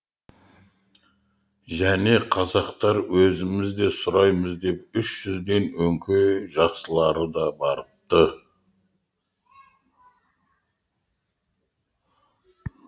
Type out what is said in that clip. және қазақтар өзіміз де сұраймыз деп үш жүзден өңкей жақсылары да барыпты